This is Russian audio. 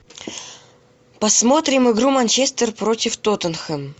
посмотрим игру манчестер против тоттенхэм